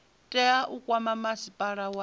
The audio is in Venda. tea u kwama masipala wa